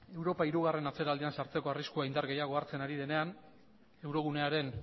europa hirugarren atzeraldian sartzeko arriskua indar gehiago hartzen ari denean eurogunearen